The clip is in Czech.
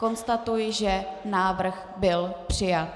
Konstatuji, že návrh byl přijat.